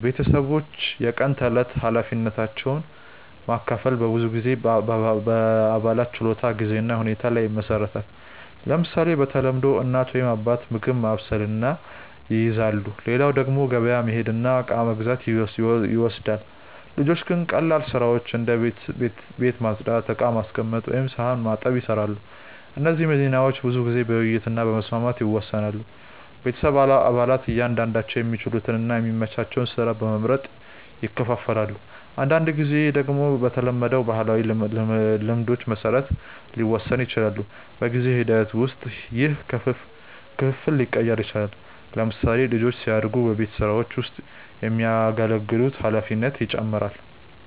ቤተሰቦች የቀን ተዕለት ኃላፊነቶችን መካፈል በብዙ ጊዜ በአባላት ችሎታ፣ ጊዜ እና ሁኔታ ላይ ይመሰረታል። ለምሳሌ፣ በተለምዶ እናት ወይም አባት ምግብ ማብሰልን ይይዛሉ፣ ሌላው ደግሞ ገበያ መሄድ እና እቃ መግዛት ይወስዳል። ልጆች ግን ቀላል ስራዎችን እንደ ቤት ማጽዳት፣ ዕቃ ማስቀመጥ ወይም ሳህን መታጠብ ይሰራሉ። እነዚህ ሚናዎች ብዙ ጊዜ በውይይት እና በመስማማት ይወሰናሉ። ቤተሰብ አባላት እያንዳንዳቸው የሚችሉትን እና የሚመቻቸውን ስራ በመመርጥ ይካፈላሉ። አንዳንድ ጊዜ ደግሞ በተለመዱ ባህላዊ ልማዶች መሰረት ሊወሰን ይችላል። በጊዜ ሂደት ውስጥ ይህ ክፍፍል ሊቀየር ይችላል። ለምሳሌ፣ ልጆች ሲያድጉ በቤት ስራዎች ውስጥ የሚያገለግሉት ኃላፊነት ይጨምራል።